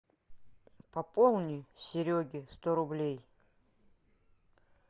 пополни сереге сто рублей